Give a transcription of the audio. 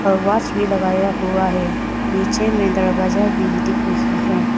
और वॉच भी लगाया हुआ है नीचे में दरवाजा भी दिख रही है।